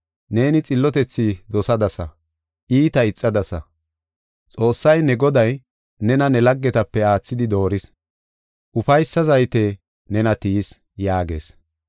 Neeni xillotethi dosadasa; iita ixadasa. Xoossay, ne Goday, nena ne laggetape aathidi dooris, ufaysa zayte nena tiyis” yaagees.